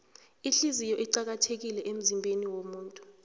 ihliziyo iqakathekile emzimbeniwomuntu